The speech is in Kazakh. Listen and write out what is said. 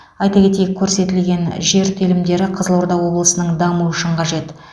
айта кетейік көрсетілген жер телімдері қызылорда облысының дамуы үшін қажет